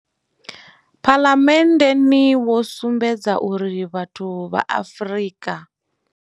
Phalamenndeni wo sumbedza uri vhathu vha Afrika.